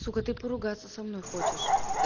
сука ты поругаться со мной хочешь